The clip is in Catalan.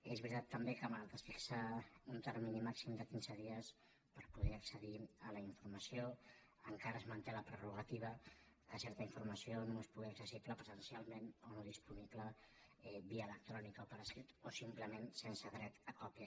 és veritat també que malgrat que es fixa un termini màxim de quinze dies per poder accedir a la informació encara es manté la prerrogativa que certa informació només pugui ser accessible presencialment o no disponible via electrònica o per escrit o simplement sense dret a còpia